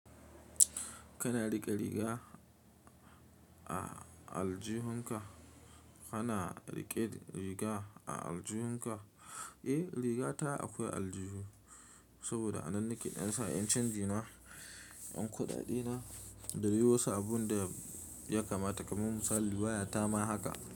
Kana riƙe riga a aljihunka? Kana riƙe riga a aljihunka? Eh, rigata akwai aljihu saboda a nan nake ɗan sa 'yan canji na, ɗan kuɗaɗe na da dai wasu abin da ya kamata, kamar misali waya ta ma haka.